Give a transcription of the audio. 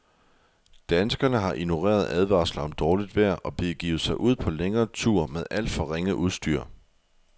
Danskerne har ignoreret advarsler om dårligt vejr og begivet sig ud på længere ture med alt for ringe udstyr.